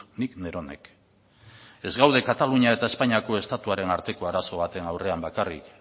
nik neronek ez gaude katalunia eta espainiako estatuaren arteko arazo baten aurrean bakarrik